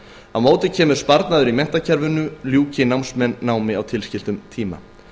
á móti kemur sparnaður í menntakerfinu ljúki námsmenn námi á tilskildum tíma